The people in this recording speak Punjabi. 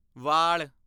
ਵਾਲ